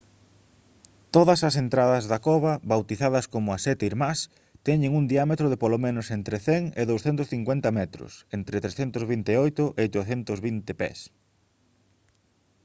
todas as entradas da cova bautizadas como «as sete irmás» teñen un diámetro de polo menos entre 100 e 250 metros entre 328 e 820 pés